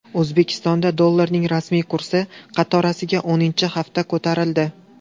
O‘zbekistonda dollarning rasmiy kursi qatorasiga o‘ninchi hafta ko‘tarildi.